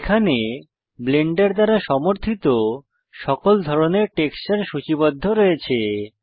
এখানে ব্লেন্ডার দ্বারা সমর্থিত সকল ধরনের টেক্সচার সূচিবদ্ধ রয়েছে